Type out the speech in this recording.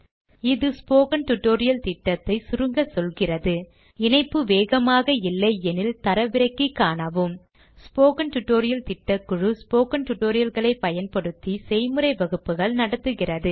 இது spoken tutorial திட்டத்தை சுருங்க சொல்கிறது இணைப்பு வேகமாக இல்லையெனில் தரவிறக்கி காணவும் ஸ்போக்கன் டியூட்டோரியல் திட்டக்குழு ஸ்போக்கன் tutorial களைப் பயன்படுத்தி செய்முறை வகுப்புகள் நடத்துகிறது